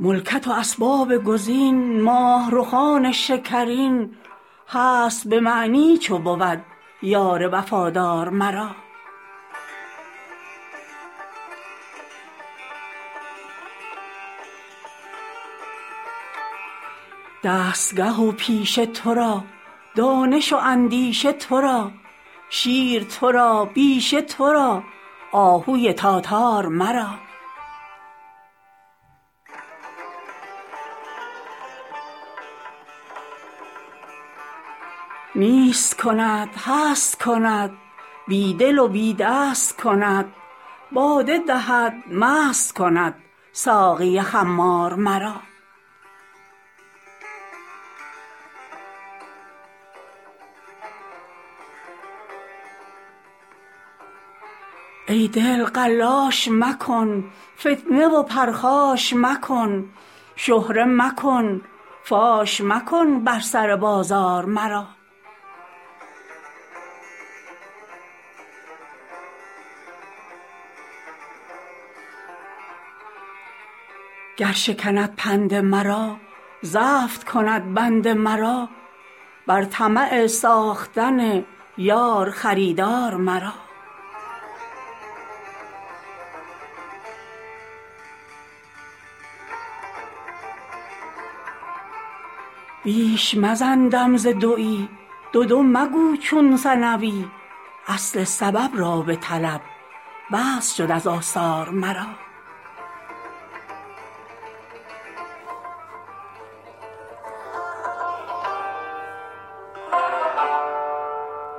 ملکت و اسباب کز این ماه رخان شکرین هست به معنی چو بود یار وفادار مرا دستگه و پیشه تو را دانش و اندیشه تو را شیر تو را بیشه تو را آهوی تاتار مرا نیست کند هست کند بی دل و بی دست کند باده دهد مست کند ساقی خمار مرا ای دل قلاش مکن فتنه و پرخاش مکن شهره مکن فاش مکن بر سر بازار مرا گر شکند پند مرا زفت کند بند مرا بر طمع ساختن یار خریدار مرا بیش مزن دم ز دوی دو دو مگو چون ثنوی اصل سبب را بطلب بس شد از آثار مرا